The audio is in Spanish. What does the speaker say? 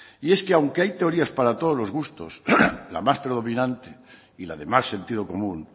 y es que aunque hay teorías para todos los gustos la más predominante y la de más sentido común